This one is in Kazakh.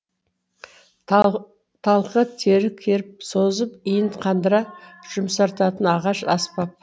талқы тері керіп созып иін қандыра жұмсартатын ағаш аспап